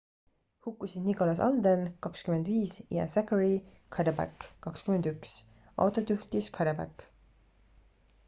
hukkusid nicholas alden 25 ja zachary cuddeback 21. autot juhtis cuddeback